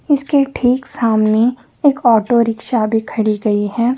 इसके ठीक सामने एक ऑटो रिक्षा भी खड़ी गई है।